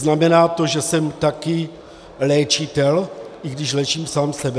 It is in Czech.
Znamená to, že jsem také léčitel, i když léčím sám sebe?